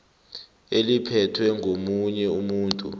eliphethwe ngomunye umuntu